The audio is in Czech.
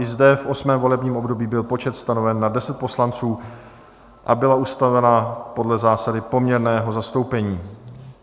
I zde, v 8. volebním období, byl počet stanoven na 10 poslanců a byla ustavena podle zásady poměrného zastoupení.